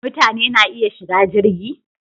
Mutane na iya shiga jirgi?